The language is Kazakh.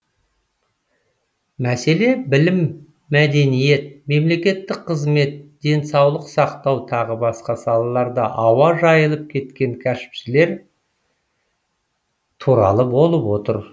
мәселе білім мәдениет мемлекеттік қызмет денсаулық сақтау тағы басқа салаларда ауа жайылып кеткен кәсіпшілер туралы болып отыр